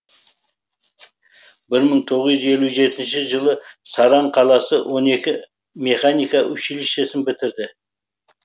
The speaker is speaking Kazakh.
бір мың тоғыз жүз елу жетінші жылы саран қаласы он екі механика училищесін бітірді